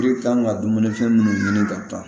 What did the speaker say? kan ka dumuni fɛn munnu ɲini ka taa